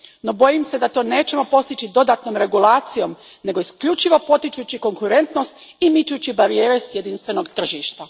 No, bojim se da to nećemo postići dodatnom regulacijom, nego isključivo potičući konkurentnost i mičući barijere s jedinstvenog tržišta.